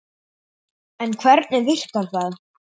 En hvernig virkar það?